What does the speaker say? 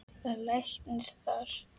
Var læknir þar.